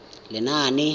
lenaane